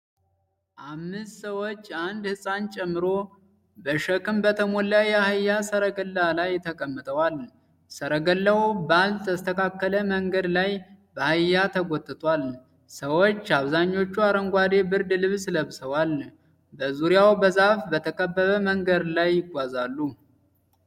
አምስት ሰዎች፣ አንድ ሕፃን ጨምሮ፣ በሸክም በተሞላ የአህያ ሠረገላ ላይ ተቀምጠዋል። ሠረገላው ባልተስተካከለ መንገድ ላይ በአህያ ተጎትቷል። ሰዎች፣ አብዛኞቹ አረንጓዴ ብርድ ልብስ ለብሰዋል፣ በዙሪያው በዛፍ በተከበበ መንገድ ላይ ይጓዛሉ።